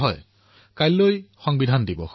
হয় কাইলৈ সংবিধান দিৱস